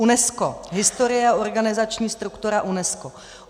UNESCO. Historie a organizační struktura UNESCO.